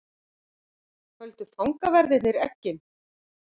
Földu fangaverðirnir eggin?